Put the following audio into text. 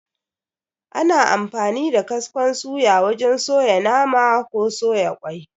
Ana amfani da kaskon suya wajen suya nama, ko ƙwai